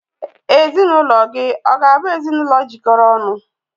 Ezinụlọ gị ọ̀ ga-abụ ezinụlọ jikọrọ ọnụ?